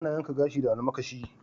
Ana yankan gashi da almakashi.